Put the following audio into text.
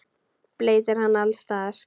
Bleytir hana alls staðar.